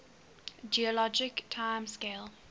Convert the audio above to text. geologic time scale